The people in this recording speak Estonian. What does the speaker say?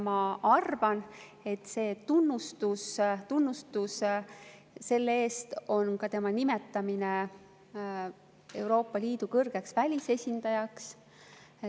Ma arvan, et tunnustus selle eest on ka tema nimetamine Euroopa Liidu kõrgeks välisesindajaks.